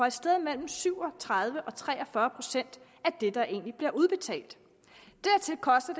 et sted mellem syv og tredive og tre og fyrre procent af det der egentlig bliver udbetalt dertil koster